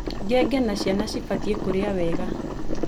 Ngenge na ciana cibatiĩ kũrĩa wega